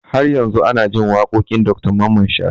Har yau ana jin waƙoƙin Dr Mamman Shatta